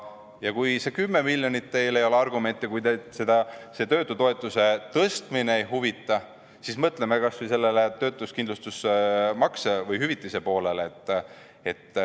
Ja kui see 10 miljonit ei ole teile argument ja kui teid see töötutoetuse tõstmine ei huvita, siis mõtleme kas või sellele töötuskindlustusmakse või -hüvitise poolele.